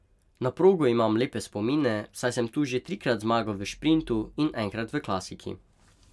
Na progo imam lepe spomine, saj sem tu že trikrat zmagal v šprintu in enkrat v klasiki.